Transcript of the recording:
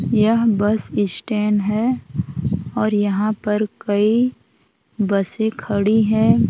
यह bus stand है और यहाँ पर कई बसें खड़ी हैं।